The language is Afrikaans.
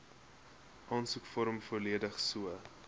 aansoekvorm volledig so